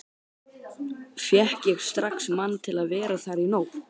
Fékk ég strax mann til að vera þar í nótt.